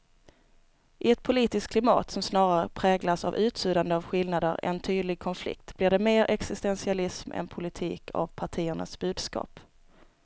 I ett politiskt klimat som snarare präglas av utsuddande av skillnader än tydlig konflikt blir det mer existentialism än politik av partiernas budskap.